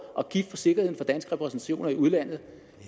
og for sikkerheden for danske repræsentationer i udlandet